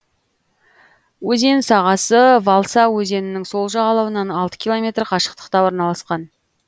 өзен сағасы валса өзенінің сол жағалауынан алты километр қашықтықта орналасқан